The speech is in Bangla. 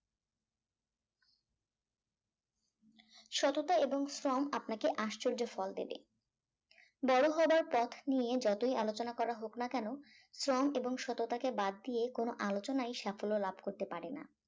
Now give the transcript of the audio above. সততা এবং শ্রম আপনাকে আশ্চর্য ফল দেবে বড় হওয়ার পথ নিয়ে যতই আলোচনা করা হোক না কেন শ্রম এবং সততাকে বাদ দিয়ে কোন আলোচনাই সাফল্য লাভ করতে পারে না